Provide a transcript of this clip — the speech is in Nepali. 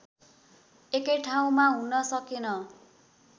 एकै ठाउँमा हुन सकेन